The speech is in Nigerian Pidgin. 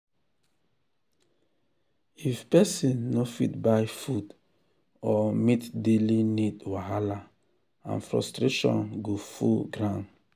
if pesin no fit buy food or meet daily need wahala and frustration go full ground.